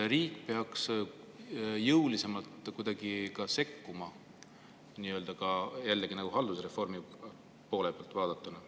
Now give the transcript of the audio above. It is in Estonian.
Kas riik peaks kuidagi jõulisemalt sekkuma, jällegi haldusreformi poole pealt vaadatuna?